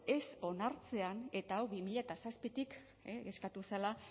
ez onartzean eta hau bi mila zazpitik eskatu zela